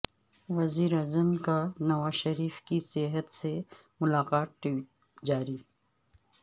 وزیر اعظم کا نواز شر یف کی صحت سے متعلق ٹویٹ جاری